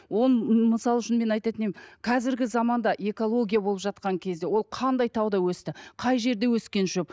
оның мысал үшін мен айтатын едім қазіргі заманда экология болып жатқан кезде ол қандай тауда өсті қай жерде өскен шөп